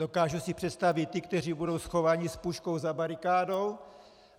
Dokážu si představit ty, kteří budou schovaní s puškou za barikádou.